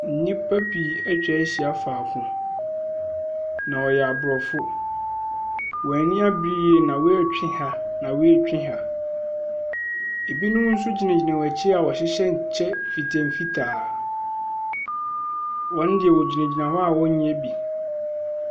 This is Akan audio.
Nnipa pii atwa ahyia faako, na wɔyɛ aborɔfo. Wɔn ani abere yie na wei retwe ha na wei retwe ha. Ebinom nso gyinagyina wɔn akyi a wɔhyɛ kyɛ mfitamfitaa. Wɔn deɛ wɔgyinagyina hɔ ɔ wɔnyɛ bi.